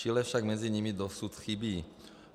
Chile však mezi nimi dosud chybí.